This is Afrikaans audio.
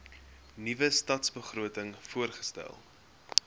nuwe stadsbegroting voorgestel